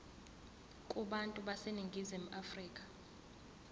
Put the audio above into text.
kubantu baseningizimu afrika